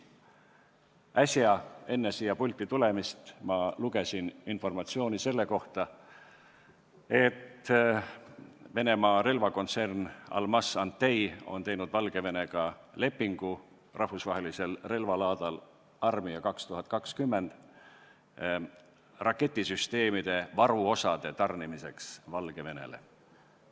Äsja, enne siia pulti tulemist, lugesin ma informatsiooni selle kohta, et Venemaa relvakontsern Almaz-Antey on sõlminud Valgevenega lepingu rahvusvahelisel relvalaadal Army 2020 raketisüsteemide varuosade tarnimiseks Valgevenele.